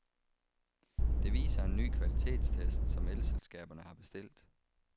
Det viser en ny kvalitetstest, som elselskaberne har bestilt.